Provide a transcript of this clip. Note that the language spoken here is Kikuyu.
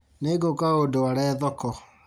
Nĩngũka ũndware thoko